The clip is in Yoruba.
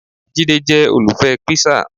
Jide jẹ́ olùfẹ́ píṣà